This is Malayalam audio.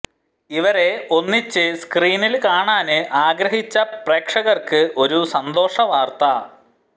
ഇവരെ ഒന്നിച്ച് സ്ക്രീനില് കാണാന് ആഗ്രഹിച്ച പ്രേക്ഷകര്ക്ക് ഒരു സന്തോഷ വാര്ത്ത